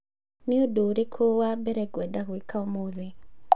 Nĩ ũndũ ũrĩkũ wa mbere ngwenda gwĩka ũmũthĩ?